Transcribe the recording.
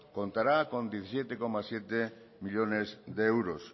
contará con diecisiete coma siete millónes de euros